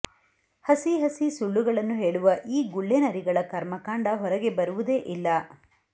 ಹಸಿ ಹಸಿ ಸುಳ್ಳುಗಳನ್ನು ಹೇಳುವ ಈ ಗುಳ್ಳೆನರಿಗಳ ಕರ್ಮಕಾಂಡ ಹೊರಗೆ ಬರುವುದೆ ಇಲ್ಲ